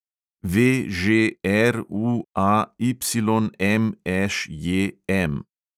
VŽRUAYMŠJM